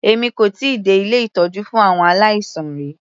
Èmi kò tíì dé ilé ìtọ́jú fún àwọn aláìsàn rí.